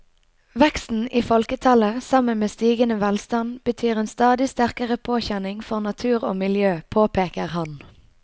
Veksten i folketallet sammen med stigende velstand betyr en stadig sterkere påkjenning for natur og miljø, påpeker han.